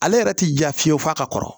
Ale yɛrɛ ti ja fiyewu f'a ka kɔrɔ